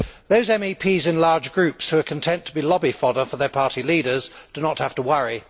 Those MEPs in large groups who are content to be lobby fodder for their party leaders do not have to worry.